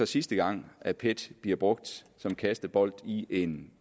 sidste gang at pet bliver brugt som kastebold i en